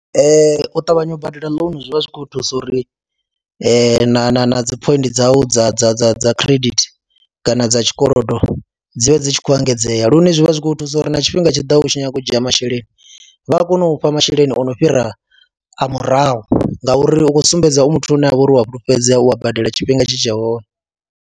Ee, u ṱavhanye u badela ḽounu zwi vha zwi khou thusa uri na na na dzi phoindi dzau dza dza dza dza credit kana dza tshikolodo dzi vhe dzi tshi khou engedzea lune zwi vha zwi kh u thusa uri na tshifhinga tshi ḓaho u tshi nyanga u dzhia masheleni vha a kona u fha masheleni o no fhira a murahu ngauri u khou sumbedza u muthu ane a vha uri u wa fhulufhedzea, u a badela tshifhinga tshi tshe hone.